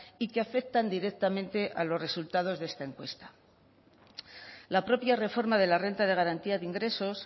y que afectan directamente a los resultados de esta encuesta la propia reforma de la renta de garantía de ingresos